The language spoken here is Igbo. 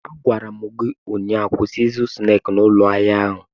Agwara m gi ụnyaahụ, kwụsị ịzụ snaakị n'ụlọ ahịa ahụ!